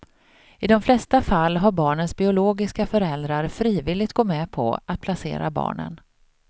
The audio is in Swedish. I de flesta fallen har barnens biologiska föräldrar frivilligt gått med på att placera barnen.